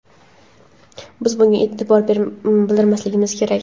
biz bunga e’tiroz bildirmasligimiz kerak.